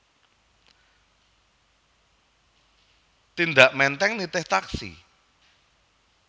Tindak Menteng nitih taksi?